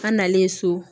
An nalen so